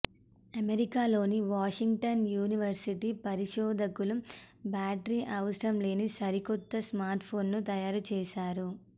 అమెరికాలోని Washington university పరిశోధకులు battery అవసరం లేని సరికొత్త స్మార్ట్ ఫోన్ ను తయారు చేశారు